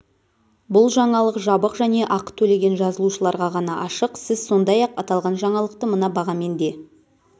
бұл жаңалық жабық және ақы төлеген жазылушыларға ғана ашық сіз сондай-ақ аталған жаңалықты мына бағамен де